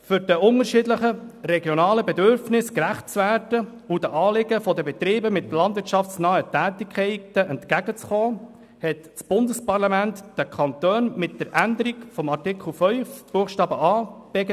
Um den unterschiedlichen regionalen Bedürfnissen gerecht zu werden und den Anliegen der Betriebe mit landwirtschaftsnahen Tätigkeiten entgegenzukommen, hat das Bundesparlament den Kantonen mit der Änderung von Artikel 5 Buchstabe a